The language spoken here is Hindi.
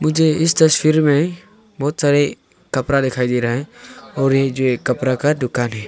मुझे इस तस्वीर में बहुत सारे कपड़ा दिखाई दे रहा है और ये जो एक कपड़ा का दुकान है।